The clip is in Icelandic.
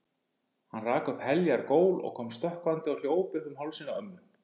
Hann rak upp heljar gól og kom stökkvandi og hljóp upp um hálsinn á ömmu.